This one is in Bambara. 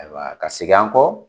Ayiwa ka segin an kɔ.